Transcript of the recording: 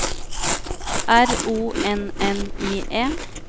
R O N N I E